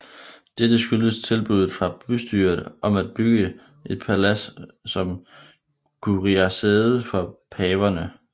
Dette skyldtes tilbuddet fra bystyret om at bygge et palads som curiasæde for paverne